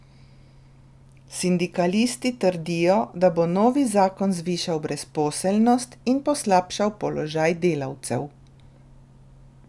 Sindikalisti trdijo, da bo novi zakon zvišal brezposelnost in poslabšal položaj delavcev.